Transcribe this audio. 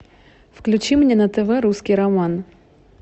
включи мне на тв русский роман